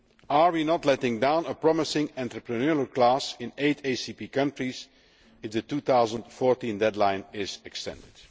Are we not letting down a promising entrepreneurial class in eight ACP countries if the 2014 deadline is extended?